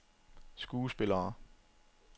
skuespillere